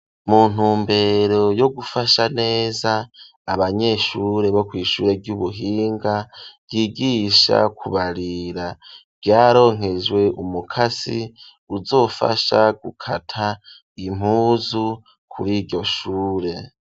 Mu ntumbero yo gufasha neza abanyeshure bo kwishure ryubuhinga ryigisha kubarira ryaronkejwe umukasi uzofasha gukata impuzu kuri iryoshure.